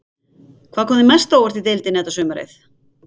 Hvað kom þér mest á óvart í deildinni þetta sumarið?